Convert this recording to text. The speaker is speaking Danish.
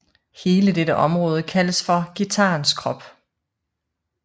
Hele dette område kaldes for guitarens krop